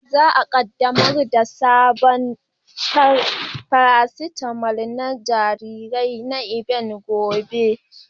Za a kaddamar da sabon farasitamal na jarirai na Evans gobe.